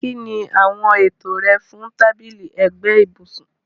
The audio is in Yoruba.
Kín ni àwọn ètò rẹ fún tábìlì ẹ̀gbẹ́ ibùsùn?